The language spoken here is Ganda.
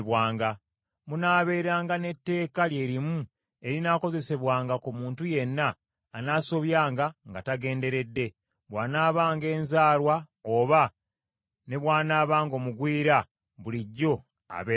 Munaabeeranga n’etteeka lye limu erinaakozesebwanga ku muntu yenna anaasobyanga nga tagenderedde, bw’anaabanga enzaalwa oba ne bw’anaabanga omugwira bulijjo abeera mu mmwe.